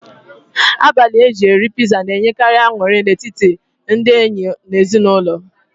Abalị eji eri piza na-enyekari aṅụrị n'etiti ndị enyi na ezinụlọ